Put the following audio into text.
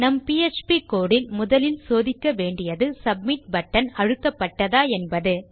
நம் PHP code இல் முதலில் சோதிக்க வேண்டியது சப்மிட் பட்டன் அழுத்தப்பட்டதா என்பது